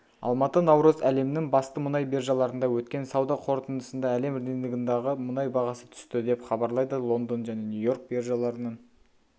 алматы наурыз әлемнің басты мұнай биржаларында өткен сауда қортындысында әлем рыногындағы мұнай бағасы түсті деп хабарлайды лондон және нью-йорк биржаларының